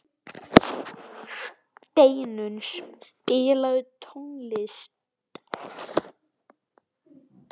Steinunn, spilaðu tónlist.